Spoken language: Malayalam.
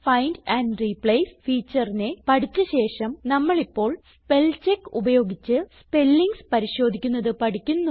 ഫൈൻഡ് ആൻഡ് റിപ്ലേസ് featureനെ പഠിച്ച ശേഷം നമ്മളിപ്പോൾ സ്പെൽചെക്ക് ഉപയോഗിച്ച് സ്പെല്ലിങ്സ് പരിശോധിക്കുന്നത് പഠിക്കുന്നു